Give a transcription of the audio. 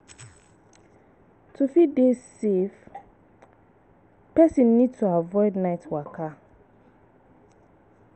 To fit dey safe, person need to avoid night waka